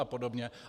A podobně.